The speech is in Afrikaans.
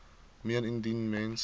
meen indien mens